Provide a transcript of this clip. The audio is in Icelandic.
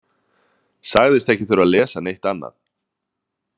Sagðist ekki þurfa að lesa neitt annað.